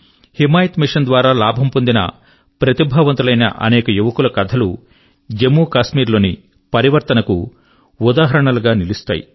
Himayat mission ద్వారా లాభం పొందిన ప్రతిభావంతులైన అనేక యువకుల కథలు జమ్మూకాశ్మీర్ లో పరివర్తన కు ఉదాహరణలు గా నిలుస్తాయి